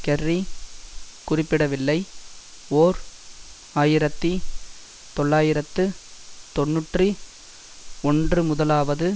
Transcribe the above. Kerry குறிப்பிடவில்லை ஓர் ஆயிரத்தி தொள்ளாயிரத்து தொன்னூற்றி ஒன்றுமுதலாவது